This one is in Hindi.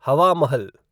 हवा महल